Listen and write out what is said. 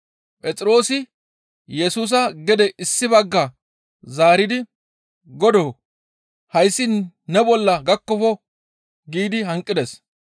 Phexroosi Yesusa gede issi bagga zaaridi, «Godoo! Hayssi ne bolla gakkofo!» giidi hanqides.